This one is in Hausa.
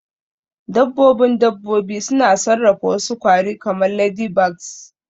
Dabbobin dabbobi suna sarrafa wasu kwari kamar ladybugs